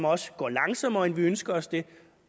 også går langsommere end vi ønsker os det